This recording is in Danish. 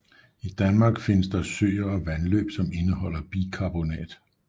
I Danmark findes den i søer og vandløb som indeholder bikarbonat